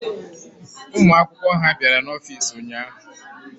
Ụmụ akwụkwọ ha bịara n'ọfiisi ụnyaahụ?